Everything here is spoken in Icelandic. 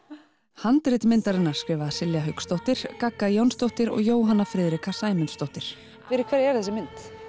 handrit myndarinnar skrifa Silja Hauksdóttir gagga Jónsdóttir og Jóhanna Friðrika Sæmundsdóttir fyrir hverja er þessi mynd